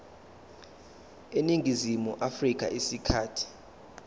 eningizimu afrika isikhathi